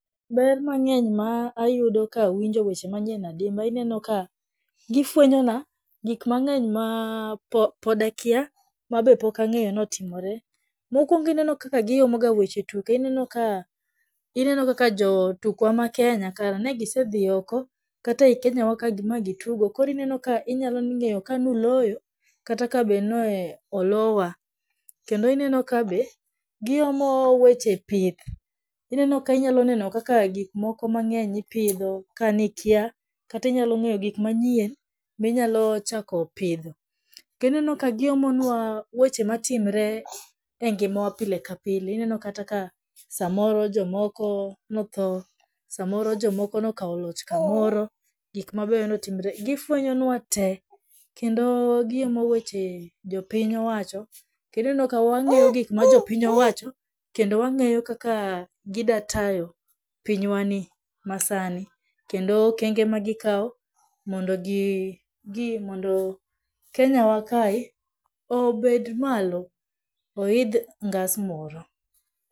Ber mang'eny ma ayudo ka awinjo weche manyien adimba inenoka , gifwenyona gikmang'eny ma podakia mabe pokangeyo ni otimore, mokwongo inenokaka giomoga weche tuke inenoka, inenokaka jotukwa ma kenya kara negisedhii oko kata e kenyawaka ma gitugo koro inenoka inyalong'eyo ka nuloyo kata ka be ne olowa, kendo inenoka be, giomo weche pith, inenoka inyaloneno kaka gikmoko mang'eny ipidho ka nikya, kata inyalong'eyo gikmanyien minyalochako pidho. To ineno ka giomonwa weche matimre e ngimawa pile ka pile, inenokata ka samoro jomoko nothoo, samoro jomoko nokawo loch kamoro gikmabe notimre gifwenyonwatee, kendo giomo weche jopinyowacho to ineno ka wang'eyo gikma jopinyowacho, kendo wang'eyo kaka gidatayo pinywani masani, kendo okenge ma gikao mondo gii jii mondo kenyawakae obed malo oidh ngas moro.